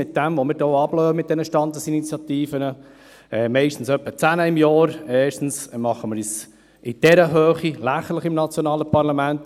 Mit dem, was wir hier mit diesen Standesinitiativen veranstalten – etwa zehn pro Jahr – machen wir uns lächerlich im nationalen Parlament.